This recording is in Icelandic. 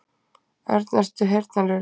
Örn, ertu heyrnarlaus?